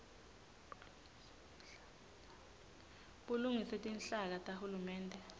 bulungiswe tinhlaka tahulumende